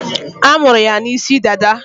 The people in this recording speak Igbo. A munyere ya n'isi dada